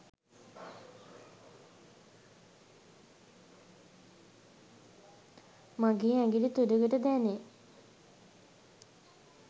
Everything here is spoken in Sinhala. මගේ ඇඟිලි තුඩගට දැනේ